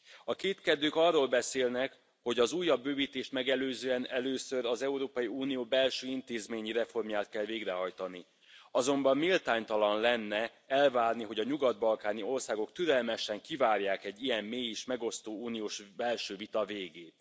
A kétkedők arról beszélnek, hogy az újabb bővítést megelőzően először az Európai Unió belső intézményi reformját kell végrehajtani, azonban méltánytalan lenne elvárni, hogy a nyugat balkáni országok türelmesen kivárják egy ilyen mély és megosztó uniós belső vita végét.